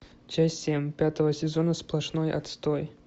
часть семь пятого сезона сплошной отстой